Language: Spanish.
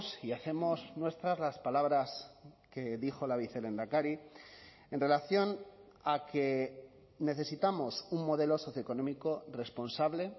y hacemos nuestras las palabras que dijo la vicelehendakari en relación a que necesitamos un modelo socioeconómico responsable